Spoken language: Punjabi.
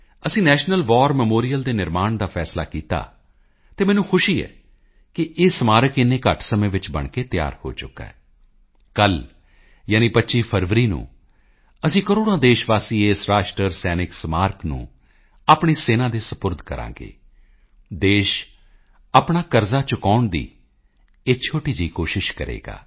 ਅਸੀਂ ਨੈਸ਼ਨਲ ਵਾਰ ਮੈਮੋਰੀਅਲ ਦੇ ਨਿਰਮਾਣ ਦਾ ਫੈਸਲਾ ਕੀਤਾ ਅਤੇ ਮੈਨੂੰ ਖੁਸ਼ੀ ਹੈ ਕਿ ਇਹ ਸਮਾਰਕ ਇੰਨੇ ਘੱਟ ਸਮੇਂ ਵਿੱਚ ਬਣ ਕੇ ਤਿਆਰ ਹੋ ਚੁੱਕਾ ਹੈ ਕੱਲ੍ਹ ਯਾਨੀ 25 ਫਰਵਰੀ ਨੂੰ ਅਸੀਂ ਕਰੋੜਾਂ ਦੇਸ਼ ਵਾਸੀ ਇਸ ਰਾਸ਼ਟਰੀ ਸੈਨਿਕ ਸਮਾਰਕ ਨੂੰ ਆਪਣੀ ਸੈਨਾ ਦੇ ਸਪੁਰਦ ਕਰਾਂਗੇ ਦੇਸ਼ ਆਪਣਾ ਕਰਜ਼ਾ ਚੁਕਾਉਣ ਦੀ ਇਹ ਛੋਟੀ ਜਿਹੀ ਕੋਸ਼ਿਸ਼ ਕਰੇਗਾ